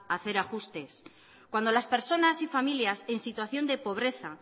a hacer ajustes cuando las personas y familias en situación de pobreza